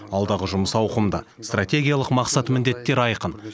алдағы жұмыс ауқымды стратегиялық мақсат міндеттер айқын